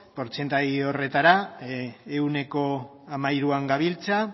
portzentaia horretara ehuneko hamairuan gabiltza